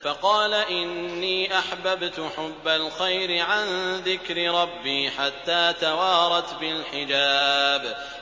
فَقَالَ إِنِّي أَحْبَبْتُ حُبَّ الْخَيْرِ عَن ذِكْرِ رَبِّي حَتَّىٰ تَوَارَتْ بِالْحِجَابِ